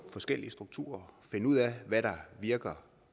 forskellige strukturer og finde ud af hvad der virker